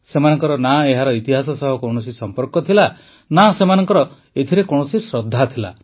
ସେମାନଙ୍କର ନା ଏହାର ଇତିହାସ ସହ କୌଣସି ସମ୍ପର୍କ ଥିଲା ନା ସେମାନଙ୍କର ଏଥିରେ କୌଣସି ଶ୍ରଦ୍ଧା ଥିଲା